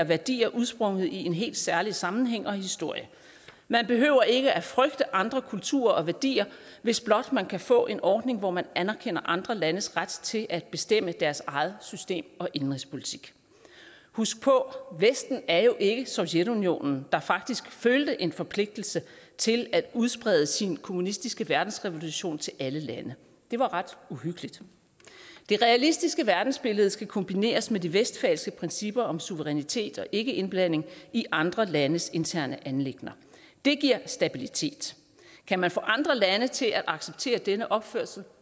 værdier udsprunget i en helt særlig sammenhæng og historie man behøver ikke at frygte andre kulturer og værdier hvis blot man kan få en ordning hvor man anerkender andre landes ret til at bestemme deres eget system og indenrigspolitik husk på vesten er jo ikke som sovjetunionen der faktisk følte en forpligtelse til at udsprede sin kommunistiske verdensrevolution til alle lande det var ret uhyggeligt det realistiske verdensbillede skal kombineres med de westfalske principper om suverænitet og ikkeindblanding i andre landes interne anliggender det giver stabilitet kan man få andre lande til at acceptere denne opførsel